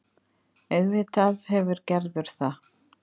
Auðvitað hefur Gerður það.